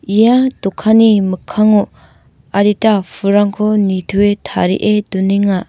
ia dokanni mikkango adita pulrangko nitoe tarie donenga.